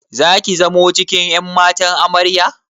Zaki zamo cikin ƴan matan Amarya?